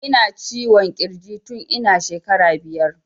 Ina ciwon kirji tun ina shekara biyar